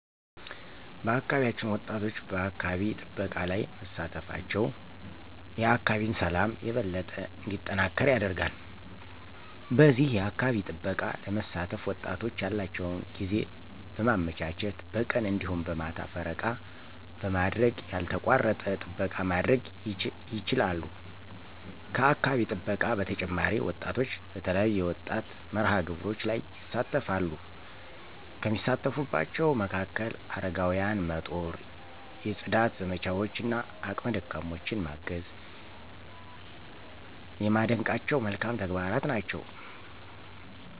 በአካባቢያችን ወጣቶች በአካባቢ ጥበቃ ላይ መሳተፋቸው የአካባቢን ሠላም የበለጠ እንዲጠናከር ያደርጋል። በዚህ የአካባቢ ጥበቃ ለመሳተፍ ወጣቶች ያላቸውን ጊዜ በማመቻቸት በቀን እንዲሁም በማታ ፈረቃ በማድረግ ያልተቋረጠ ጥበቃ ማድረግ ይችላሉ። ከአካባቢ ጥበቃ በተጨማሪ ወጣቶች በተለያዩ የወጣት መርሃ-ግብሮች ላይ ይሣተፈሉ፤ ከሚሳተፉባቸው መካከል፦ አረጋውያንን መጦር፣ የፅዳት ዘመቻዎች እና አቅመ ደካሞችን ማገዝ የማደንቃቸው መልካም ተግባራት ናቸው።